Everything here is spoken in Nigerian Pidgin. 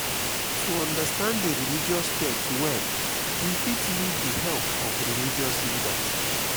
to understand di religious text well we fit need di help of religious leaders